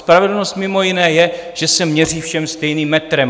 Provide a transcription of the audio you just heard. Spravedlnost mimo jiné je, že se měří všem stejným metrem.